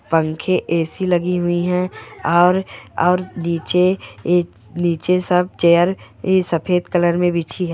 पंखे ए_सी लगी हुई है और नीचे सब चेअर सफेद कलर मे बिछी हुई है।